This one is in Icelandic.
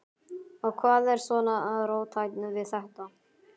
Og hvað er svona róttækt við þetta?